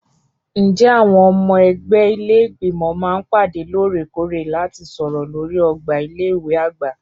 Ǹjẹ́ àwọn ọmọ ẹgbẹ́ ilé Ìgbìmọ̀ máa ń pàdé lóòrèkóòrè láti sọ̀rọ̀ lórí ọgbà ilé ìwé àgbà?